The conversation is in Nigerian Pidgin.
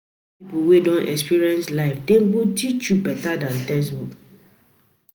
Learn from people wey don experience life, dem go teach you better than textbook.